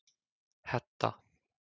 Hedda